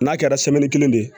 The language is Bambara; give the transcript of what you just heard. N'a kɛra kelen ye